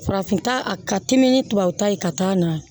Farafin ta ka timi ni tubabu ta ye ka taa na